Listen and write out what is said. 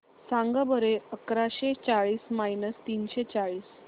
सांगा बरं अकराशे चाळीस मायनस तीनशे चाळीस